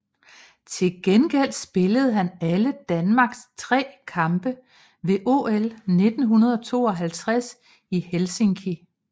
Til gengæld spillede han alle Danmarks tre kampe ved OL 1952 i Helsinki